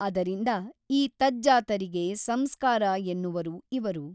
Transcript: ಅದರಿಂದ ಈ ತಜ್ಜಾತರಿಗೆ ಸಂಸ್ಕಾರ ಎನ್ನುವರು ಇವರು.